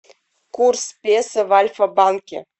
курс песо в альфа банке